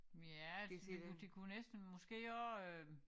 Ja det kunne det kunne næsten måske også øh